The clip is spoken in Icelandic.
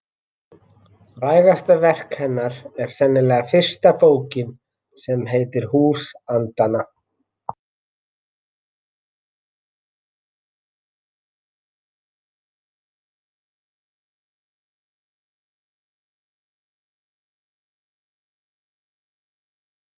Þetta er einhver sem þið munið líklega aldrei hitta.